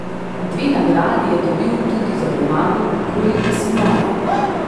Dve nagradi je dobil tudi za roman Koliko si moja?